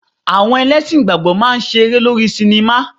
Àwọn ẹlẹ́sìn ìgbàgbọ́ máa ń ṣe eré lórí sinimá.